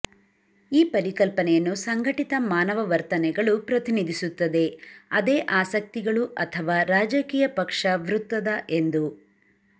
ಈ ಪರಿಕಲ್ಪನೆಯನ್ನು ಸಂಘಟಿತ ಮಾನವ ವರ್ತನೆಗಳು ಪ್ರತಿನಿಧಿಸುತ್ತದೆ ಅದೇ ಆಸಕ್ತಿಗಳು ಅಥವಾ ರಾಜಕೀಯ ಪಕ್ಷ ವೃತ್ತದ ಎಂದು